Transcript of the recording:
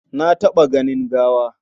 Na taɓa ganin gawa.